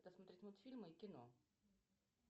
посмотреть мультфильмы и кино